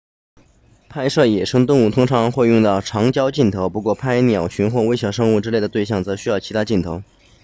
拍摄野生动物通常会用到长焦镜头不过拍鸟群或微小生物之类的对象则需要其他镜头